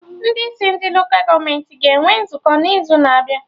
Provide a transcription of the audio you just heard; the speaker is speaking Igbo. Ndị isi ndị Lola gọọmenti ga-enwe nzukọ n'izu na-abịa